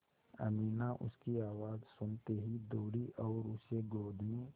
अमीना उसकी आवाज़ सुनते ही दौड़ी और उसे गोद में